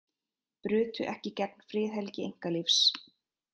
Brutu ekki gegn friðhelgi einkalífs